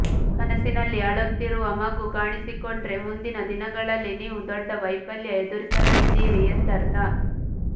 ಕನಸಿನಲ್ಲಿ ಅಳುತ್ತಿರುವ ಮಗು ಕಾಣಿಸಿಕೊಂಡ್ರೆ ಮುಂದಿನ ದಿನಗಳಲ್ಲಿ ನೀವು ದೊಡ್ಡ ವೈಫಲ್ಯ ಎದುರಿಸಲಿದ್ದೀರಿ ಎಂದರ್ಥ